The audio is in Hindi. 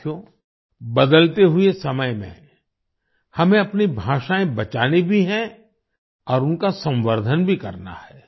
साथियो बदलते हुए समय में हमें अपनी भाषाएँ बचानी भी हैं और उनका संवर्धन भी करना है